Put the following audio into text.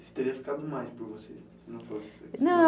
Isso teria ficado mais por você? na